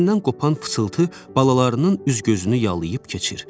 Sinəsindən qopan pıçılıltı balalarının üz-gözünü yalıyıb keçir.